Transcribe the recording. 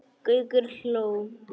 Gaukur hló.